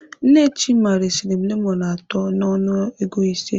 Nne Chima resiri m lemọnụ atọ n'ọnụ ego ise.